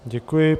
Děkuji.